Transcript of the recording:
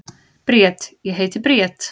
Bríet: Ég heiti Bríet.